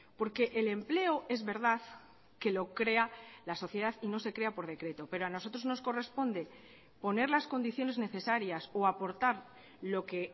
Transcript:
porque el empleo es verdad que lo crea la sociedad y no se crea por decreto pero a nosotros nos corresponde poner las condiciones necesarias o aportar lo que